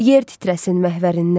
Yer titrəsin məhvərindən.